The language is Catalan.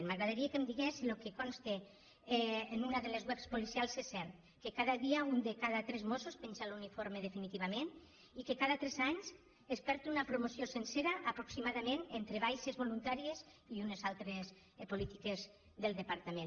m’agradaria que em digués si el que consta en una de les web policials és cert que cada dia un de cada tres mossos penja l’uniforme definitivament i que cada tres anys es perd una promoció sencera aproxima·dament entre baixes voluntàries i unes altres polítiques del departament